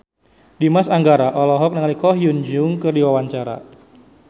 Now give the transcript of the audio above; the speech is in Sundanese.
Dimas Anggara olohok ningali Ko Hyun Jung keur diwawancara